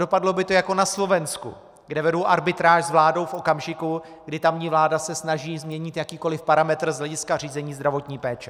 Dopadlo by to jako na Slovensku, kde vedou arbitráž s vládou v okamžiku, kdy tamní vláda se snaží změnit jakýkoli parametr z hlediska řízení zdravotní péče.